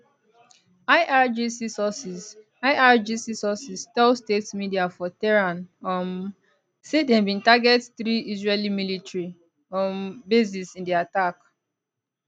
irgc sources irgc sources tell state media for tehran um say dem bin target three israeli military um bases in di attack